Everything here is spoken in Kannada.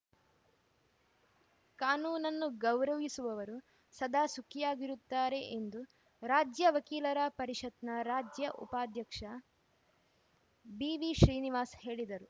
ಕಾನೂನನ್ನು ಗೌರವಿಸುವವರು ಸದಾ ಸುಖಿಯಾಗಿರುತ್ತಾರೆ ಎಂದು ರಾಜ್ಯ ವಕೀಲರ ಪರಿಷತ್‌ನ ರಾಜ್ಯ ಉಪಾಧ್ಯಕ್ಷ ಬಿವಿಶ್ರೀನಿವಾಸ್‌ ಹೇಳಿದರು